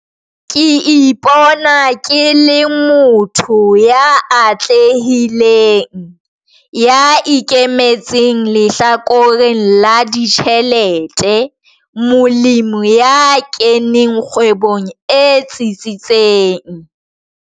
Ke ipona ke le motho ya atlehileng, ya ikemetseng lehlakoreng la ditjhelete, molemi ya keneng kgwebong e tsetsitseng.